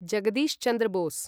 Jagadish Chandra Bose